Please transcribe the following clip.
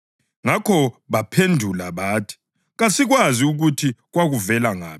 Ngakho baphendula bathi, “Kasikwazi ukuthi kwakuvela ngaphi.”